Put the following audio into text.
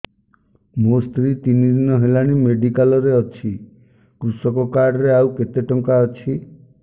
ମୋ ସ୍ତ୍ରୀ ତିନି ଦିନ ହେଲାଣି ମେଡିକାଲ ରେ ଅଛି କୃଷକ କାର୍ଡ ରେ ଆଉ କେତେ ଟଙ୍କା ଅଛି